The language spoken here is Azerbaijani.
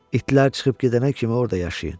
İtlər çıxıb gedənə kimi orda yaşayın.